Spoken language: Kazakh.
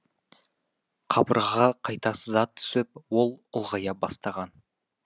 қабырғаға қайта сызат түсіп ол ұлғая бастаған